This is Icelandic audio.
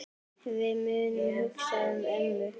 Við munum hugsa um mömmu.